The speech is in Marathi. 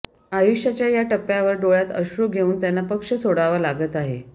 आयुष्याच्या या टप्प्यावर डोळ्यात अश्रू घेऊन त्यांना पक्ष सोडावा लागत आहे